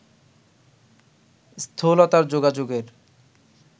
স্থূলতার যোগাযোগের